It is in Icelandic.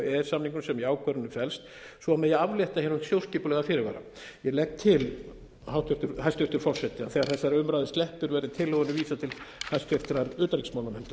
sem í ákvörðunum felst svo megi aflétta hér hinum þjóðskipulega fyrirvara ég legg til hæstvirtur forseti þegar þessari umræðu sleppir verði tillögunni vísað til hæstvirtrar utanríkismálanefndar